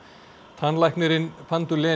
tannlæknirinn